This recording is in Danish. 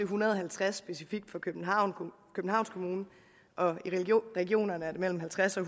hundrede og halvtreds specifikt for københavns kommune og i regionerne mellem halvtreds og